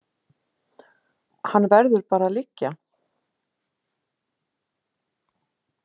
Hann verður bara að liggja.